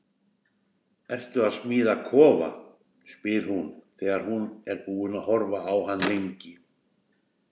Ertu að smíða kofa? spyr hún þegar hún er búin að horfa á hann lengi.